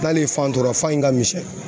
N'ale ye fan tɔrɔ fa in ka misɛn.